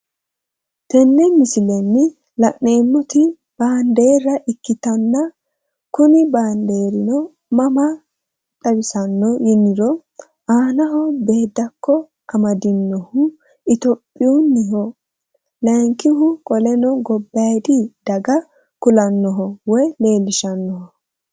Tenne misilenni la'neemmoti baandeerra ikkitanna kuni baandeerino mama xawisanno yiniro aanaho beeddakko amadinohi itiyophiyuunniho layiinkihu qoleno gobbayiidi daga kulannoho woy leellishahannoho.